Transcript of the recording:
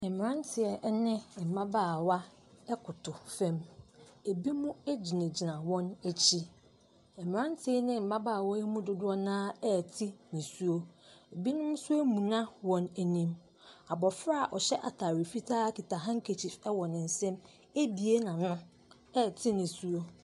Mmranteɛ ɛne mmabaawa ɛkoto fam, ebi mo agyina gyina wɔn akyi. Mmranteɛ ne mmabaawa yi mu dodoɔ na ɛte nisuo, ebi nso amuna wɔn anim. Abofra a ɔhyɛ ataare fitaa kita handkertchief ɛwɔ ne nsam ebue n'ano ɛte nisuo.